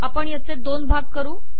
आपण याचे दोन भाग करू